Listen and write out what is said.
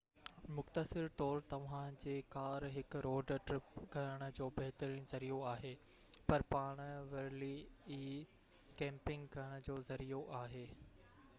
مختصر طور توهانجي ڪار هڪ روڊ ٽرپ ڪرڻ جو بهترين ذريعو آهي پر پاڻ ورلي ئي ڪيمپنگ ڪرڻ جو ذريعو آهي